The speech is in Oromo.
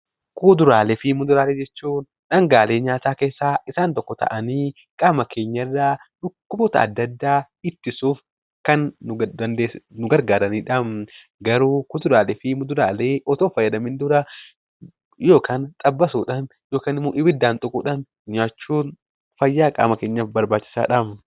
Kuduraalee fi muduraalee jechuun dhangaalee nyaata keessaa tokko ta'anii qaama keenya irraa dhukkuba ittisuuf kan nu gargaaranidha. Kuduraalee fi muduraalee nyaachuun dura ibiddaan waaduun fayyaa keenyaaf barbaachisaadha.